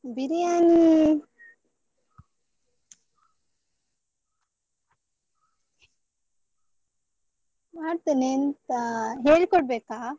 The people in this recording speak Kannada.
ಬಿರಿಯಾನಿ ಮಾಡ್ತೇನೆ ಎಂತಾ, ಹೇಳಿ ಕೊಡ್ಬೇಕಾ?